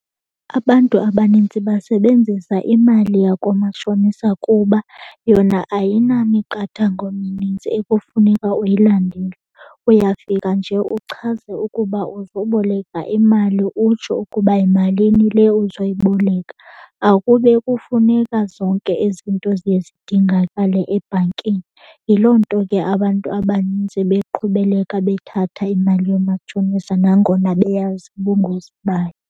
Abantu abanintsi basebenzisa imali yakwamatshonisa kuba yona ayinamiqathango minintsi ekufuneka uyilandele. Uyafika nje uchaze ukuba uzoboleka imali utsho ukuba yimalini le uzoyiboleka. Akube kufuneka zonke ezinto ziye zidingakale ebhankini. Yiloo nto ke abantu abanintsi beqhubeleka bethatha imali koomatshonisa nangona beyazi ubungozi bayo.